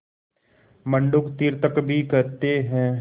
मंडूक तीर्थक भी कहते हैं